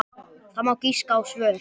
Það má giska á svör.